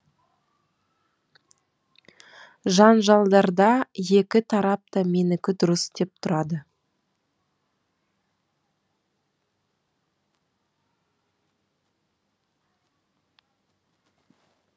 жанжалдарда екі тарап та менікі дұрыс деп тұрады